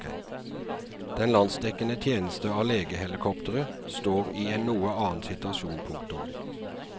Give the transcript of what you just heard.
Den landsdekkende tjeneste av legehelikoptre står i en noe annen situasjon. punktum